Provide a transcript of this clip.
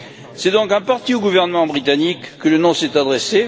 C'est donc en partie au gouvernement britannique que le non s'est adressé.